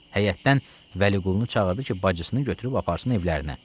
Həyətdən Vəliqulunu çağırdı ki, bacısını götürüb aparsın evlərinə.